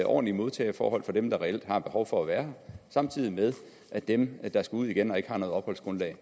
ordentlige modtageforhold for dem der reelt har behov for at være her samtidig med at dem der skal ud igen og ikke har noget opholdsgrundlag